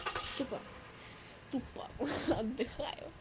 тупа тупа отдыхаю